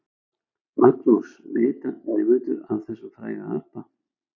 Magnús: Vita nemendur af þessum fræga apa?